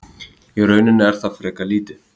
Í rauninni er það frekar lítið.